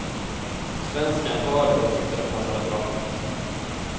Svenskan hörde och tyckte det passade bra.